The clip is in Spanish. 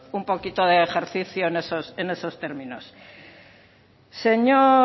un poquito de ejercicio en esos términos señor